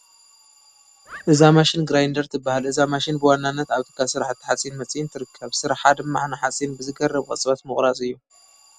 እዛ ማሽን ግራይንደር ትበሃል፡፡ እዛ ማሽን ብዋናነት ኣብ ትካል ስራሕቲ ሓፂን መፂን ትርከብ፡፡ ስርሓ ድማ ንሓፂን ብዘግርም ቅፅበት ምቑራፅ እዩ፡፡